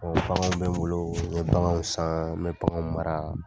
baganw bɛ n boloo, ɲe baganw saan, n be baganw mara.